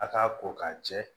A k'a ko k'a jɛ